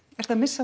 ertu að missa